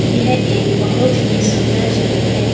यह एक बहुत ही सुंदर जगह है।